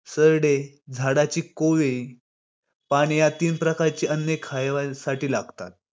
राजमाता जिजाऊ यांनी सोन्याच्या नांगराने पुण्यात शेत जमीन नांगरली आणि पुणे शहराला पुन्हा पहिले सारखे केले.